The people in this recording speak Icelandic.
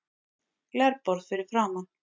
Glerborð fyrir framan.